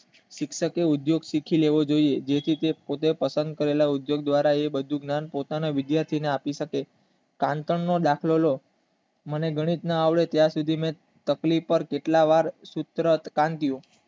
શિક્ષકો એ વિધુત શીખી લેવો જોઈએ જેથી તે પોતે કરેલા પતન કરેલા વિધુત જ્ઞાંગ પોતાના વિધાથી ને આપી શકે અળતાનો દાખલો લે મને ગણિત માં આવડે ત્યાં સુધી મેં કેટલી વાર સૂત્ર ટાંગ્યું.